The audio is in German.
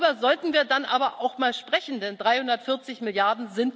Darüber sollten wir dann aber auch mal sprechen, denn 340 Mrd.